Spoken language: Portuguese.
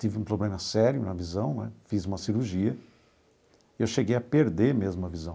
Tive um problema sério na visão né, fiz uma cirurgia, e eu cheguei a perder mesmo a visão.